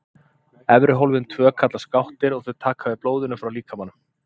Efri hólfin tvö kallast gáttir og þau taka við blóðinu frá líkamanum.